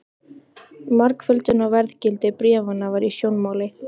Margföldun á verðgildi bréfanna var í sjónmáli.